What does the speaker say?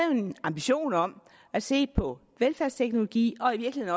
en ambition om at se på velfærdsteknologi og i